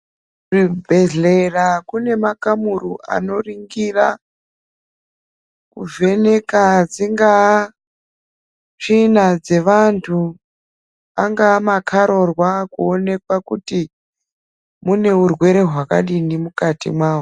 Kuzvibhehlera kune makamuri anoringira kuvheneka tsinga, tsvina dzevantu, angava makarurwa kuonekwa kuti mune urwere hwakadini mukati mawo.